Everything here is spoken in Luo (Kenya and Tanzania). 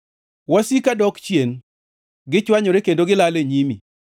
Wasika dok chien; gichwanyore kendo gilal e nyimi.